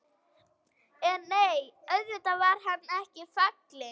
En nei, auðvitað var hann ekki fallinn.